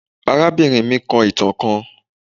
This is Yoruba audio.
Arabinrin mi kọ itan kan